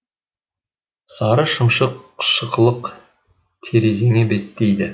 сары шымшық шықылық терезеңе беттейді